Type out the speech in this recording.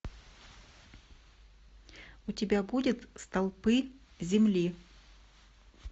у тебя будет столпы земли